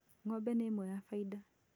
Ng'ombe nĩ ĩmwe ya faida